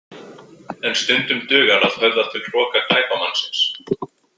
En stundum dugar að höfða til hroka glæpamannsins.